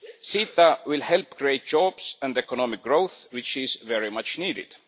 CETA will help create jobs and economic growth which is very much needed.